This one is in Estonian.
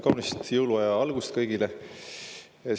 Kaunist jõuluaja algust kõigile!